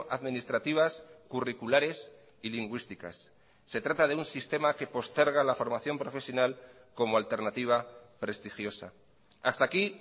administrativas curriculares y lingüísticas se trata de un sistema que posterga la formación profesional como alternativa prestigiosa hasta aquí